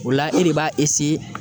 O la e de b'a